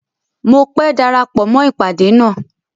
Mọ pé dárápọ̀ mọ ipádé ná.